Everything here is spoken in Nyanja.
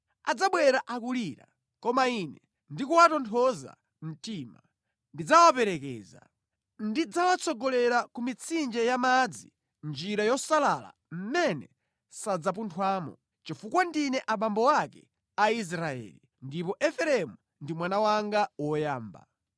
Adzabwera akulira; koma Ine ndikuwatonthoza mtima, ndidzawaperekeza. Ndidzawatsogolera ku mitsinje yamadzi mʼnjira yosalala mmene sadzapunthwamo. Chifukwa ndine abambo ake a Israeli, ndipo Efereimu ndi mwana wanga woyamba.